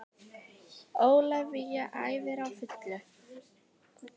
Ólafía æfir á fullu